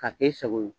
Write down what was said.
K'a kɛ e sago ye